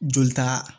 Joli ta